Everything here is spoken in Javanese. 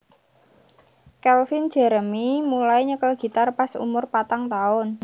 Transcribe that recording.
Calvin Jeremy mulai nyekel gitar pas umur patang taun